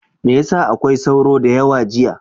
Me ya sa akwai sauro da yawa jiya?